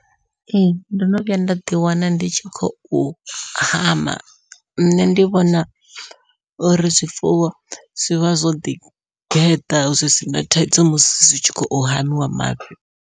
Ee ndo no vhuya nda ḓi wana ndi tshi khou hama, nṋe ndi vhona uri zwifuwo zwivha zwo ḓigeḓa zwi sina thaidzo musi zwi tshi khou hamiwa mafhi.